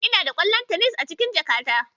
Inada ƙwallon tenis a cikin jakata.